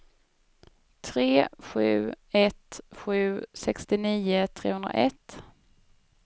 tre sju ett sju sextionio trehundraett